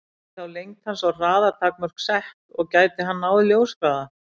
Yrðu þá lengd hans og hraða takmörk sett, og gæti hann náð ljóshraða?